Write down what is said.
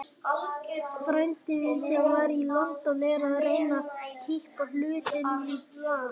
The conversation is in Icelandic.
Frændi minn, sem var í London, er að reyna að kippa hlutunum í lag.